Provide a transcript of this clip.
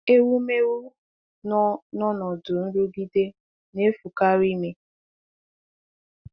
Ewumewụ nọ n’ọnọdụ nrụgide na-efukarị ime.